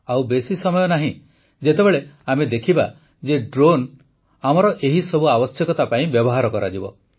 ଆଉ ବେଶି ସମୟ ନାହିଁ ଯେତେବେଳେ ଆମେ ଦେଖିବା ଯେ ଡ୍ରୋନ୍ ଆମର ଏହିସବୁ ଆବଶ୍ୟକତା ପାଇଁ ବ୍ୟବହାର କରାଯିବ